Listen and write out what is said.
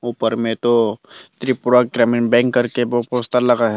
ऊपर में दो त्रिपुरा ग्रामीण बैंक करके वो पोस्टर लगा--